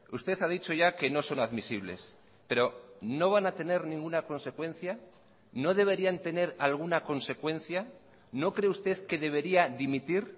usted ha dicho ya que no son admisibles pero no van a tener ninguna consecuencia no deberían tener alguna consecuencia no cree usted que debería dimitir